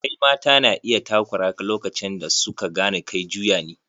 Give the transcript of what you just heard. Sirikai mata na iya takura ka lokacin da su ka gane kai juya ne.